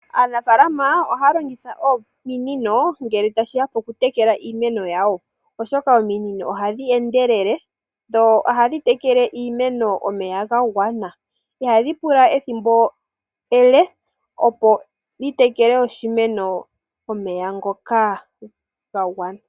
Aanafaalama ohaa longitha ominino, ngele ta shiya poku tekela iimeno yawo, oshoka ominino ohadhi endelele, dho ohadhi tekele iimeno omeya ga gwana. Ihadhi pula ethimbo ele, opo dhi tekele oshimeno omeya ngoka ga gwana.